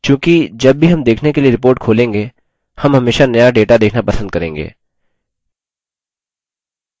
चूँकि जब भी हम देखने के लिए report खोलेंगे हम हमेशा नया data देखना पसंद करेंगे